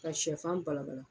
Ka sɛfan balabala